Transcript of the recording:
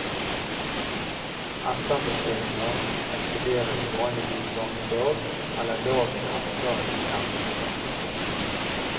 Etterbestillinger ekspederes vanligvis samme dag eller dagen etter at de er mottatt. punktum